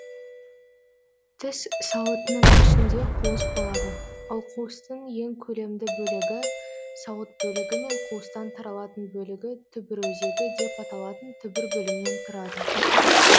тіс сауытының ішінде қуыс болады ол қуыстың ең көлемді бөлігі сауыт бөлігі мен қуыстан тарылатын бөлігі түбір өзегі деп аталатын түбір бөлімнен тұрады